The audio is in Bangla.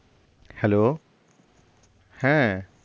Hello হ্যাঁ